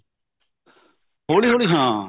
ਹੋਲੀ ਹੋਲੀ ਹਾਂ